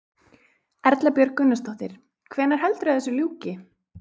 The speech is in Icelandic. Erla Björg Gunnarsdóttir: Hvenær heldurðu að þessu ljúki?